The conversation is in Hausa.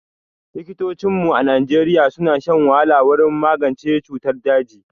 Likitocinmu a Najeriya suna shan wahala wurin magance cutar daji